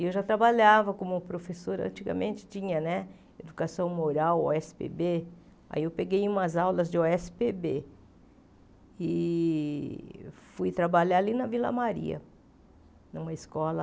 E eu já trabalhava como professora, antigamente tinha Educação Moral, ó èsse pê bê, aí eu peguei umas aulas de ó èsse pê bê e fui trabalhar ali na Vila Maria, numa escola...